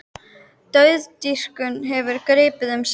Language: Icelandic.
Dauðadýrkun hefur gripið um sig í